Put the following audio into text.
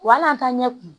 Wa hali an t'an ɲɛ kumu